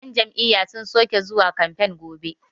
yan Jam'iyya sun soke zuwa kamfe gobe